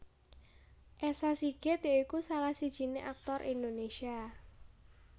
Esa Sigit ya iku salah sijiné aktor Indonésia